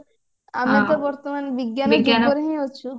ଆମେ ତ ବର୍ତମାନ ବିଜ୍ଞାନ ଯୁଗରେ ହିଁ ଅଛୁ